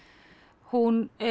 hún